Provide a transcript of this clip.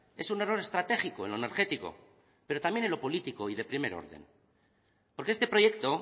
es un error estratégico en lo energético pero también en lo político y de primer orden porque este proyecto